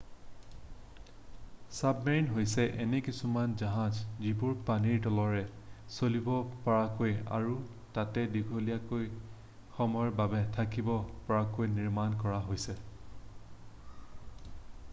submarine হৈছে এনে কিছুমান জাহাজ যিবোৰ পানীৰ তলেৰে চলিব পৰাকৈ আৰু তাতে দীঘলীয়া সময়ৰ বাবে থাকিব পৰাকৈ নিৰ্মাণ কৰা হৈছে